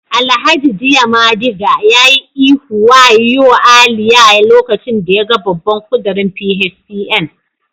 Alhaji diamadiga ya yi ihu waoyo Aliyah lokacin da yaga babban kudirin PHCN